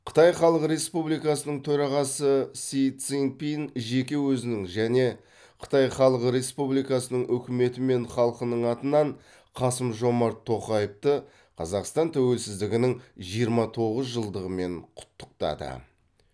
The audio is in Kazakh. қытай халық республикасының төрағасы си цзиньпин жеке өзінің және қытай халық республикасының үкіметі мен халқының атынан қасым жомарт тоқаевты қазақстан тәуелсіздігінің жиырма тоғыз жылдығымен құттықтады